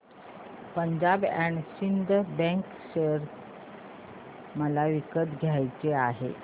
Punjab and Sind bank share मला विकत घ्यायचे आहेत